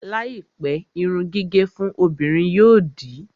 Láìpẹ́, irun gígẹ̀ fún obìnrin yóò di